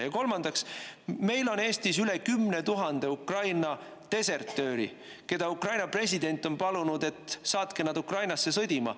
Ja kolmandaks, meil on Eestis üle 10 000 Ukraina desertööri, keda Ukraina president on palunud, et saatke nad Ukrainasse sõdima.